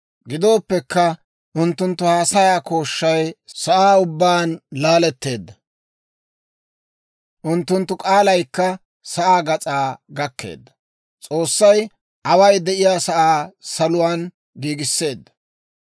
Gidooppekka, unttunttu haasayaa kooshshay sa'aa ubbaan laaletteedda; unttunttu k'aalaykka sa'aa gas'aa gakkeedda. S'oossay away de'iyaa sa'aa saluwaan giigisseedda.